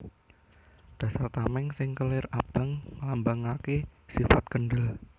Dasar tamèng sing kelir abang nglambangaké sifat kendhel